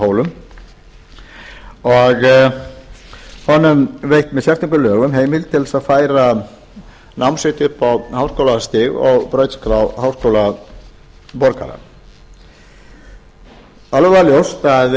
hólum og honum veitt með sérstökum lögum heimild til að færa nám sitt upp á háskólastig og brautskrá háskólaborgara það er alveg ljóst